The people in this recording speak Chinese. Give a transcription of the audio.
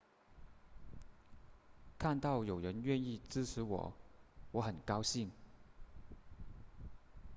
看到有人愿意支持我我很高兴